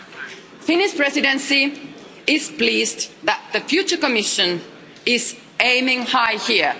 The Finnish Presidency is pleased that the future Commission is aiming high here.